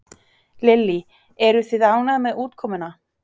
Lillý: Eruð þið ánægð með útkomuna?